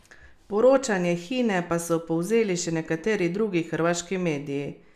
Poročanje Hine pa so povzeli še nekateri drugi hrvaški mediji.